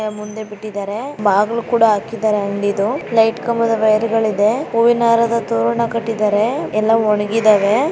ಮುಂದೆ ಬಿಟ್ಟಿದ್ದರೆ. ಬಾಗಲ್ಲು ಕೂಡ ಹಾಕಿದರೆ ಅಂಗಡಿದು. ಲೈಟ್ ಕಂಬದ ವೈರ್ ಗಳ್ ಇದೆ. ಹೂವಿನ ಹಾರದ ತೋರಣ ಕಟ್ಟಿದ್ದಾರೆ. ಯಲ್ಲಾ ಒಣಗಿದಾವೆ .